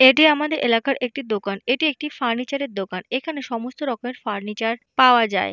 এটি আমাদের এলাকার দোকান এটি একটি ফার্নিচার এর দোকান এখানে সমস্ত রকমের ফার্নিচার পাওয়া যায়।